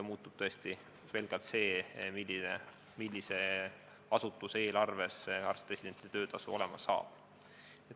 Muutub tõesti pelgalt see, millise asutuse eelarvest arst-residendi töötasu rahastama hakatakse.